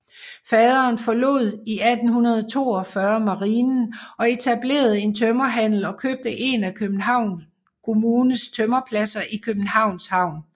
Faderen forlod i 1842 Marinen og etablerede en tømmerhandel og købte en af Københavns Kommunes tømmerpladser i Københavns Havn